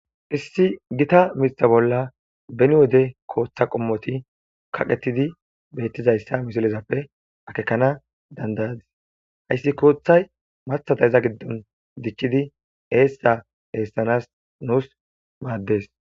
issi gita mitha bolla beni wode kooththa qommoti kaqetidi beettizayssa misilezappe akekana dandayadis hayssi kooththay mathada iza giddon dichchidi eessa eessanas nuus maaddes